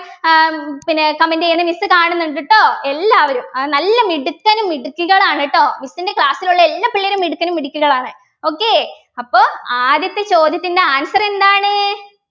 ആഹ് പിന്നെ comment ചെയ്യണം miss കാണുന്നുണ്ട് ട്ടോ എല്ലാവരും ആഹ് നല്ല മിടുക്കനും മിടുക്കികളാണ് ട്ടോ miss ൻ്റെ class ലുള്ള എല്ലാ പിള്ളേരും മിടുക്കനും മിടുക്കികളാണ് okay അപ്പൊ ആദ്യത്തെ ചോദ്യത്തിൻ്റെ answer എന്താണ്